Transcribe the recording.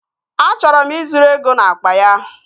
Achọrọ m ị zuru ego n'akpa ya